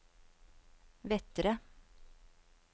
Vettre